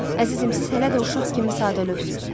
Əzizim, siz hələ də uşaq kimi sadəlövvsüz.